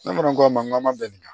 Ne fana ko a ma n k'an ma bɛn nin ma